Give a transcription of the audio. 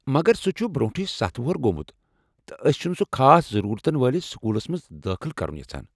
مگر، سُہ چھُ برونٹھے ستھ وُہر گوٚمُت تہٕ أسۍ چھن سُہ خاص ضرورتن والِس سکوٗلس منٛز دٲخل کرُن یژھان